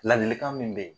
Ladilikan min be yen